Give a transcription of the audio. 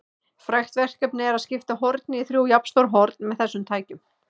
Frægt verkefni er að skipta horni í þrjú jafnstór horn með þessum tækjum.